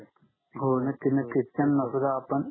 हो नक्की नक्की त्यांना सुद्धा आपण